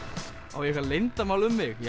á ég eitthvað leyndarmál um mig